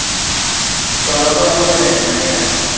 ਕਾਲਾ ਬੜਾ ਹੋ ਗਿਆ ਇਕ ਮੈ ਯਾਰ।